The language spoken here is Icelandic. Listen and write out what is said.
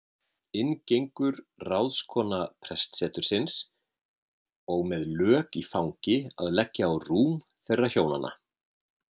Inn gengur ráðskona prestsetursins og með lök í fangi að leggja á rúm þeirra hjónanna.